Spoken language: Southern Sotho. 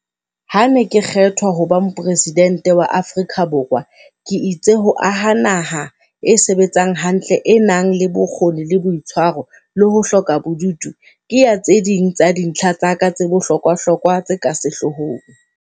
Ha ke ne ke kgethwa ho ba Mopresi dente wa Afrika Borwa, ke itse ho aha naha e sebetsang hantle, e nang le bokgoni le boitshwaro, le ho hloka bobudu, ke ya tse ding tsa dintlha tsa ka tse bohlokwahlokwa tse ka sehlohlolong.